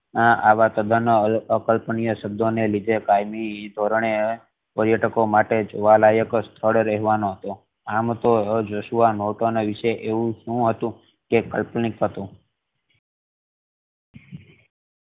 આવા સદા ના અકલ્પનિય શબ્દો ને લીધે કાયમી પર્યટકો માટે જોવા લાયક સ્થળ રેવાનો આમ તો જોશુઆ નોર્ટન વિશે એવું સુ હતું કે કાલ્પનિક હતુ